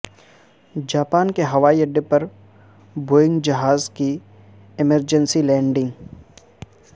Japan کے ہوائی اڈے پر بوئنگ جہاز کی ایمرجنسی لینڈنگ